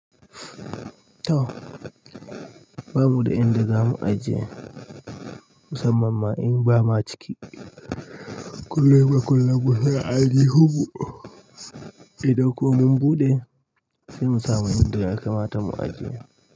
Tay, babu dai inda zamu ajiye musamman ma in ba ma ciki. Kullum da kullum mu na ainihinmu idan kuma mun ɓuɗe sai mu samu wanda ya ka mata mu ajiye.